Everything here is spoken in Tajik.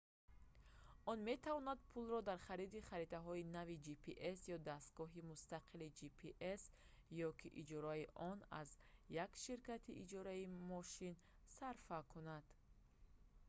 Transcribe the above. он метавонад пулро дар хариди харитаҳои нави gps ё дастгоҳи мустақили gps ё ки иҷораи он аз як ширкати иҷораи мошин сарфа кунад